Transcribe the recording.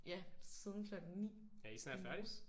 Ja siden klokken 9 i morges